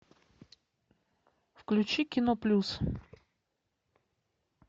включи кино плюс